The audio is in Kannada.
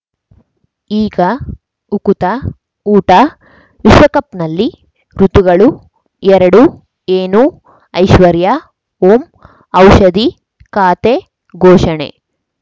ಈಗ ಉಕುತ ಊಟ ವಿಶ್ವಕಪ್‌ನಲ್ಲಿ ಋತುಗಳು ಎರಡು ಏನು ಐಶ್ವರ್ಯಾ ಓಂ ಔಷಧಿ ಖಾತೆ ಘೋಷಣೆ